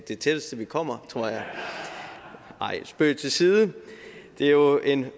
det tætteste vi kommer tror jeg nej spøg til side det er jo en